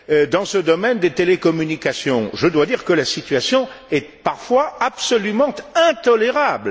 Dans ce domaine des télécommunications, je dois dire que la situation est parfois absolument intolérable.